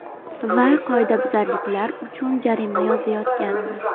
Va qoidabuzarliklar uchun jarima yozayotgandi.